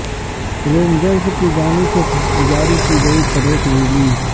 rangers کی جانب سے جاری کی گئی پریس ریلیز